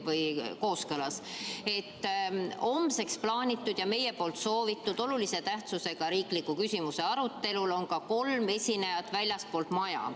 Homseks plaanitud ja meie soovitud olulise tähtsusega riikliku küsimuse arutelul on ka kolm esinejat väljastpoolt maja.